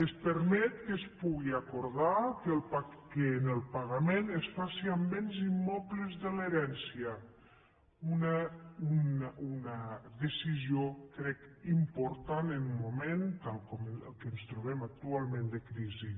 es permet que es pugui acordar que el pagament es faci amb béns immobles de l’herència una decisió crec important en un moment com el que ens trobem actualment de crisi